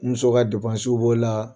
N muso ka depansiw b'o la.